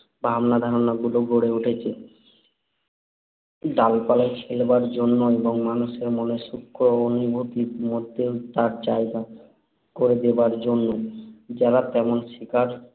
ভাবনা-ধারণাগুলো গড়ে উঠেছে, ডালপালায় খেলাবার জন্য এবং মানুষের মনের সূক্ষ্ম অনুভূতির মধ্যেও তার জায়গা করে দেবার জন্য। যাঁরা তেমন শিক্ষার